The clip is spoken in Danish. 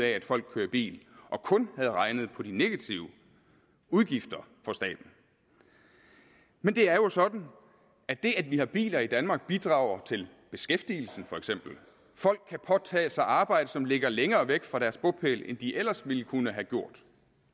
at folk kører i bil og kun havde regnet på de negative udgifter for staten men det er jo sådan at det at har vi biler i danmark bidrager til beskæftigelsen for eksempel folk kan påtage sig et arbejde som ligger længere væk fra deres bopæl end de ellers ville kunne have gjort